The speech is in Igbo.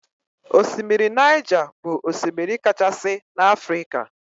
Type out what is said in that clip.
Osimiri Naija bụ osimiri kachasị n'Afrika